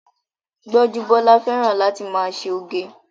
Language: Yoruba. Gbọ́njúbọ́lá fẹ́ràn láti máa ṣe oge